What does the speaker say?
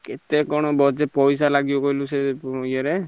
କେତେ କଣ ବଜେ~ ପଇସା ଲାଗିବ କହିଲୁ ସେ ଏ ରେ?